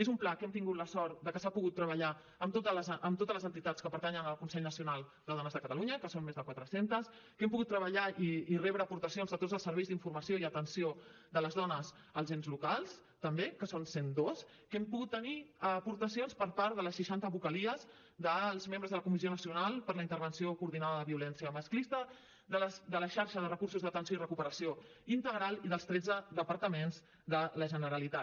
és un pla que hem tingut la sort de que s’ha pogut treballar amb totes les entitats que pertanyen al consell nacional de dones de catalunya que són més de quatre centes que hem pogut treballar i rebre aportacions de tots els serveis d’informació i atenció de les dones als ens locals també que són cent dos que hem pogut tenir aportacions per part de les seixanta vocalies dels membres de la comissió nacional per la intervenció coordinada de violència masclista de la xarxa de recursos d’atenció i recuperació integral i dels tretze departaments de la generalitat